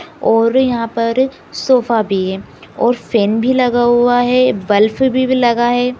और यहाँ पर सोफा भी है और फेन भी लगा हुआ है बल्ब भी लगा है।